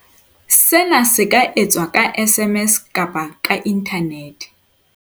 Sena se ka etswa ka SMS kapa ka inthanete.